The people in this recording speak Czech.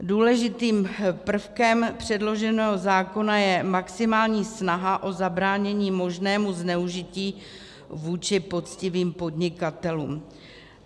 Důležitým prvkem předloženého zákona je maximální snaha o zabránění možnému zneužití vůči poctivým podnikatelům.